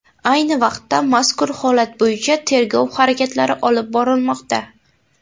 Ayni vaqtda mazkur holat bo‘yicha tergov harakatlari olib borilmoqda.